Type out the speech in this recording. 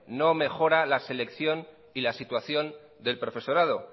no mejora la selección y la situación del profesorado